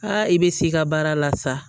i bɛ s'i ka baara la sa